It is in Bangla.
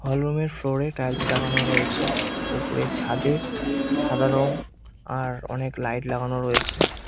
হল রুম -এর ফ্লোর -এ টাইলস লাগানো রয়েছে উপরের ছাদে সাদা রং আর অনেক লাইট লাগানো রয়েছে।